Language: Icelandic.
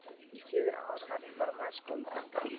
Í fjögur ár var ég formaður skólanefndar.